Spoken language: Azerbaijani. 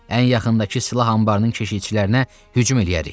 Ən yaxındakı silah anbarının keşiyçilərinə hücum eləyərik.